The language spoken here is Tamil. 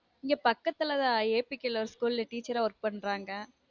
இங்க பக்கத்துல தான் APK ல ஒரு school ல teacher அ WORK பண்றாங்க